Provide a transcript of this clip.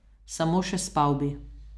Samo še spal bi.